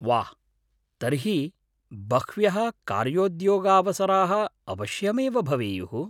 वाह्! तर्हि बह्व्यः कार्योद्योगावसराः अवश्यमेव भवेयुः।